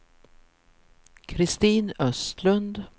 Kristin Östlund